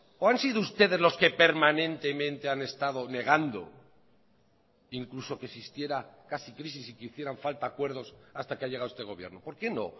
o han sido ustedes los que permanentemente han estado negando incluso que existiera casi crisis y que hicieran falta acuerdos hasta que ha llegado este gobierno por qué no